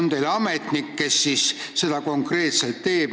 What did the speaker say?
Kas teil on ametnik, kes siis seda konkreetselt teebki?